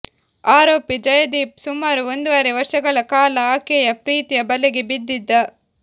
ಆರೋಪಿ ಜಯದೀಪ್ ಸುಮಾರು ಒಂದುವರೆ ವರ್ಷಗಳ ಕಾಲ ಆಕೆಯ ಪ್ರೀತಿಯ ಬಲೆಗೆ ಬಿದ್ದಿದ್ದ